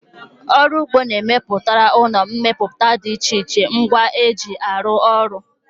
Ọrụ ụgbọ na-emepụtara ụlọ mmepụta dị iche iche ngwa ha ji arụ ọrụ